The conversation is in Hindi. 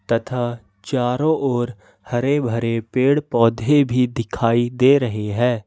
तथा चारों ओर हरे भरे पेड़ पौधे भी दिखाई दे रही है।